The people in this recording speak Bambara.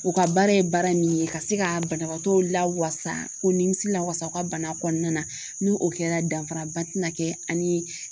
U ka baara ye baara min ye ka se ka banabaatɔ lawasa ko nimisi lawasa u ka bana kɔnɔna na n'u o kɛra danfara ba tɛna kɛ an ni